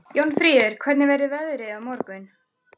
Jónfríður, hvernig verður veðrið á morgun?